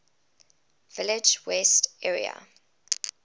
village west area